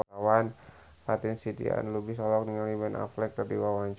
Fatin Shidqia Lubis olohok ningali Ben Affleck keur diwawancara